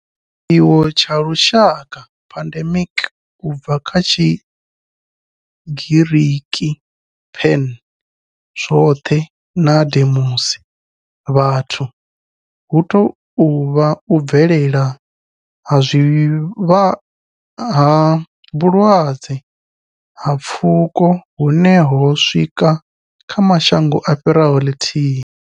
Tshiwo tsha lushaka pandemic, u bva kha Tshigiriki pan, zwothe na demos, vhathu hu tou vha u bvelela ha vhulwadze ha pfuko hune ho swika kha mashango a fhiraho lithihi.